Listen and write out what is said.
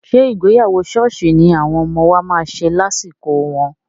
Ṣé ìgbéyàwó ṣọ́ọ̀ṣì ni àwọn ọmọ wa máa ṣe lásìkò wọn?